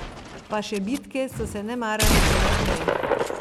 Pa še bitke so se nemara začele prej.